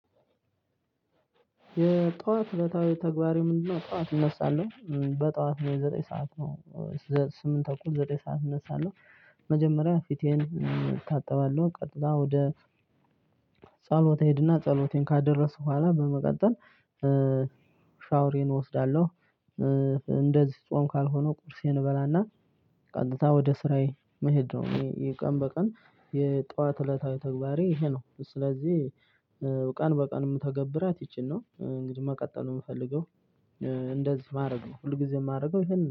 የጥዋት እለታዊ ተግባሬ ምንድነው? ጥዋት እነሳለሁ በጥዋት ዘጠኝ ሰዓት ነው ስምንት ተኩል ዘጠኝ ሰዓት እነሳለሁ። መጀመሪያ ፊቴን እታጠባለሁ ቀጥሎ ወደ ጸሎት እሄድና ጸሎቴን ካደረስኩ በኋላ በመቀጠል ሻውሬን እወስዳለሁ። እንደዚህ ጾም ካልሆነ ቁርሴን እበላና ቀጥታ ወደ ስራዬ መሄድ ነው። ቀን በቀን የጥዋት እለታዊ ተግባሬ ይሄ ነው ስለዚህ ቀን በቀን እምተገብራት ይቺን ነው። እንግዲህ መቀጠሉ እምፈልገው እንደዚህ ማድረግ ሁልጊዜም እማደርገው ይኸን ነው